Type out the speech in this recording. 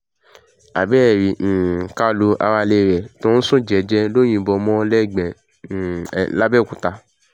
abẹ́ẹ̀ rí um kálù aráalé ẹ̀ tó ń sún jẹ́ẹ́jẹ́ ló yìnbọn mọ́ lẹ́gbẹ̀ẹ́ um làbẹ̀òkúta